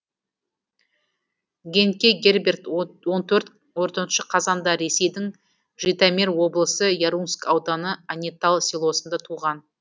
генке герберт он төртінші қазанда ресейдің житомир облысы ярунск ауданы анетал селосында туған